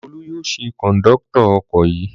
Olú yóò ṣe kọ̀ńdọ́tọ̀ ọkọ̀ yìí.